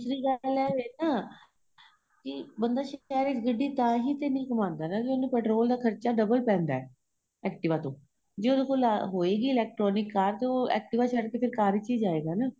ਦੂਸਰੀ ਗੱਲ ਏ ਨਾ ਕੀ ਬੰਦਾ ਸ਼ਹਿਰ ਚ ਗੱਡੀ ਤਾਹੀ ਤੇ ਨਹੀਂ ਘੁੰਮਾਦਾ ਨਾ ਜੋ ਉਹਨੂੰ petrol ਦਾ ਖਰਚਾ double ਪੈਂਦਾ ਏ activa ਤੋ ਜੇ ਉਹਦੇ ਕੋਲ ਹੋਏਗੀ electronic ਕਾਰ ਤੇ ਉਹ activa ਛੱਡਕੇ ਫ਼ੇਰ ਕਾਰ ਚ ਹੀ ਜਾਏਗਾ ਨਾ